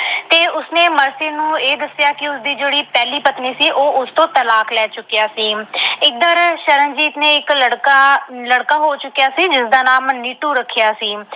ਤੇ ਉਸਨੇ ਮਰਸੀ ਨੂੰ ਇਹ ਦੱਸਿਆ ਕਿ ਉਸ ਦੀ ਜਿਹੜੀ ਪਹਿਲੀ ਪਤਨੀ ਸੀ, ਉਹ ਉਸ ਤੋਂ ਤਲਾਕ ਲੈ ਚੁੱਕਿਆ ਸੀ। ਇਧਰ ਸ਼ਰਨਜੀਤ ਦੇ ਇੱਕ ਲੜਕਾ ਅਹ ਲੜਕਾ ਹੋ ਚੁੱਕਿਆ ਸੀ, ਜਿਸਦਾ ਨਾਮ ਨੀਟੂ ਰੱਖਿਆ ਸੀ।